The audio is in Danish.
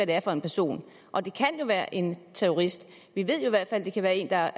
det er for en person og det kan jo være en terrorist vi ved jo i hvert fald at det kan være en der